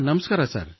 ನಮಸ್ಕಾರ ಸರ್